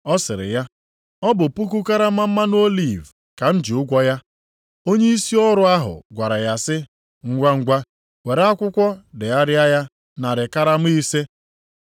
“Ọ sịrị ya, ‘Ọ bụ puku karama mmanụ oliv ka m ji ụgwọ ya.’ “Onyeisi ọrụ ahụ gwara ya sị, ‘Ngwangwa, were akwụkwọ degharịa ya narị karama ise.’